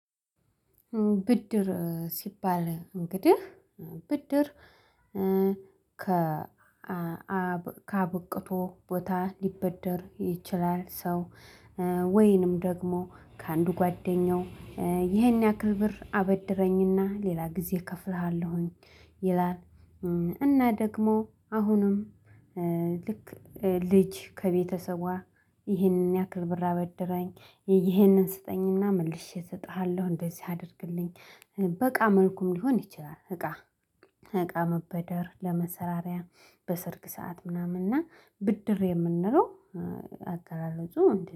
ብድር ሲባል እንግዲህ ብድር ከ ከአብቅቶ ቦታ ሊበደር ይችላል። ሰው ወይንም ደግሞ ከአንዱ ጓደኛው ይህን ያክል ብር አበድረኝና ሌላ ጊዜ እከፍልሃለሁኝ ይላል። እና ደግሞ አሁንም ልክ ልጅ ከቤተሰቧ ይህንን ያክርብር አበደረኝ ይህንን ስጠኝና መልሼ እሰጥሃለሁ እንደዚህ አድርግልኝ በእቃ መልኩም ሊሆን ይችላል። እቃ እቃ መበደር ለመሠራሪያ በሰርግ ሰዓት ምናምን እና ብድር የምንለው አገላለጹ